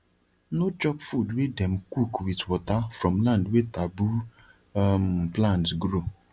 no chop food wey dem cook with water from land wey taboo um plants grow